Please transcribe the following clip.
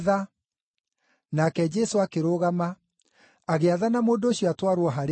Nake Jesũ akĩrũgama, agĩathana, mũndũ ũcio atwarwo harĩ we.